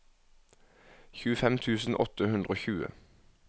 tjuefem tusen åtte hundre og tjue